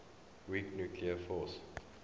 weak nuclear force